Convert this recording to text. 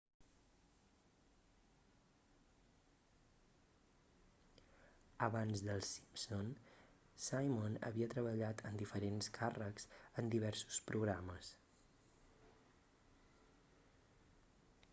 abans d'els simpson simon havia treballat en diferents càrrecs en diversos programes